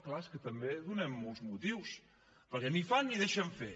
clar és que també donem molts motius perquè ni fan ni deixen fer